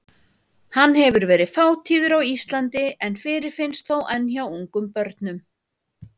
Hann hefur verið fátíður á Íslandi en fyrirfinnst þó enn hjá ungum börnum.